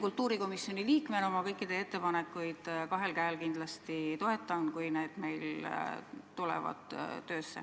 Kultuurikomisjoni liikmena toetan ma kõiki teie ettepanekuid kindlasti kahel käel, kui need meil töösse tulevad.